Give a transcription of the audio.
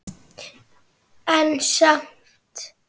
En samt.